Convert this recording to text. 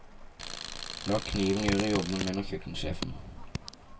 La kniven gjøre jobben, mener kjøkkensjefen.